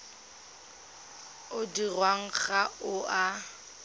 o dirwang ga o a